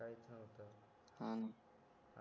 हाना